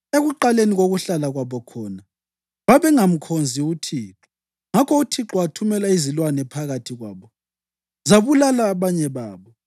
Ekuqaleni kokuhlala kwabo khona, babengamkhonzi uThixo; ngakho uThixo wathumela izilwane phakathi kwabo, zabulala abanye babo.